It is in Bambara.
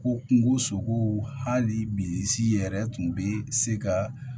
Ko kungo sogow hali bi si yɛrɛ tun bɛ se ka